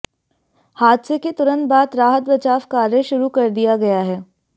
हादसे के तुरंत बाद राहत बचाव कार्य शुरू कर दिया गया है